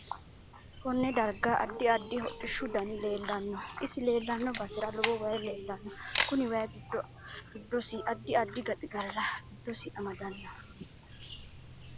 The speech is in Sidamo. Konne darga addi addi hodhishu dani leelanno isi leelanno basera lowo waayi leelanno kuni wayi giddosi addi addi gaxigala giddosi amadanno